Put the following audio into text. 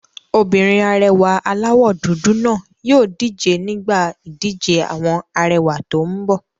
Obìnrin arẹwà aláwọ̀ dúdú náà yóò díje nígbà ìdíje àwọn arẹwà tó n bọ̀